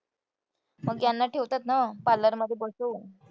मग यांना ठेवतात ना parlor मध्ये बसवून.